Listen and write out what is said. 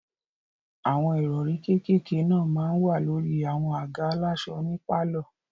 Àwọn ìrọ̀rí kékèké náà máa n wà lórí àwọn àga aláṣọ ní pálọ̀